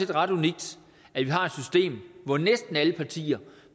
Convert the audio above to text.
ret unikt at vi har et system hvor næsten alle partier